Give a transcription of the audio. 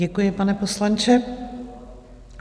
Děkuji, pane poslanče.